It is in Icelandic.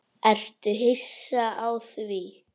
Ertu hissa á því?